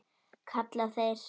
kalla þeir.